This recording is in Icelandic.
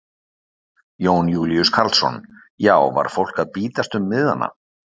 Jón Júlíus Karlsson: Já var fólk að bítast um miðana?